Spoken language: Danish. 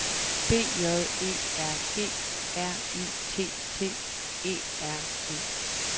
B J E R G R Y T T E R E